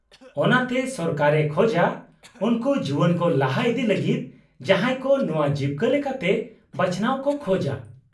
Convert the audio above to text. -ᱚᱱᱟᱛᱮ ᱥᱚᱨᱠᱟᱨᱮ ᱠᱷᱚᱡᱟ ᱩᱱᱠᱩ ᱡᱩᱣᱟᱹᱱ ᱠᱚ ᱞᱟᱦᱟ ᱤᱫᱤ ᱞᱟᱹᱜᱤᱫ ᱡᱟᱦᱟᱸᱭ ᱠᱚ ᱱᱚᱶᱟ ᱡᱤᱵᱠᱟᱹ ᱞᱮᱠᱟᱛᱮ ᱵᱟᱪᱷᱱᱟᱣ ᱠᱚ ᱠᱷᱚᱡᱟ ᱾